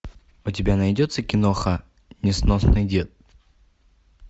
у тебя найдется киноха несносный дед